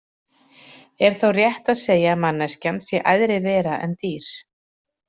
Er þá rétt að segja að manneskjan sé æðri vera en dýr?